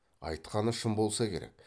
айтқаны шын болса керек